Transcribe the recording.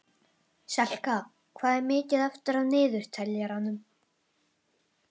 Selka, hvað er mikið eftir af niðurteljaranum?